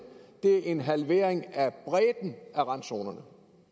er en halvering af bredden af randzonerne